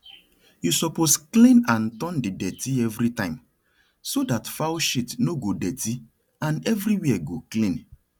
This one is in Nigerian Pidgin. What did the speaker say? you suppose clean and turn the dirty everytime so that fowl shit no go dirty and everywhere go clean